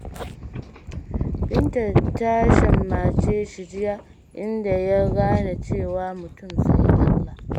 Binta ta shammace shi jiya, inda ya gane cewa, mutum fa sai Allah.